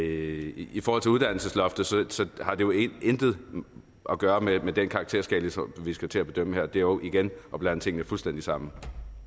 i i forhold til uddannelsesloftet har det jo intet at gøre med med den karakterskala som vi skal til at bedømme her det er jo igen at blande tingene fuldstændig sammen